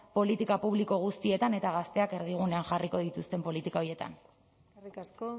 politika publiko guztietan eta gazteak erdigunean jarriko dituzten politika horietan eskerrik asko